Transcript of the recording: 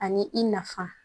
Ani i nafa